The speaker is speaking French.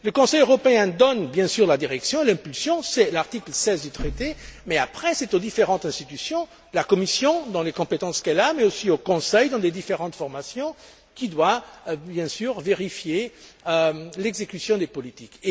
Le Conseil européen donne, bien sûr, la direction, l'impulsion c'est l'article 16 du Traité mais après c'est aux différentes institutions, à la Commission, dans les compétences qu'elle a, mais aussi au Conseil, dans ses différentes formations, qu'il appartient de vérifier l'exécution des politiques.